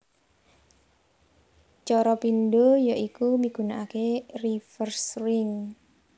Cara pindho ya iku migunakaké reverse ring